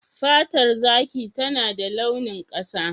Fatar zaki tana da launin ƙasa.